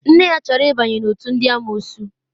Nne ya chọrọ ịbanye n'òtù ndị amụụsụ.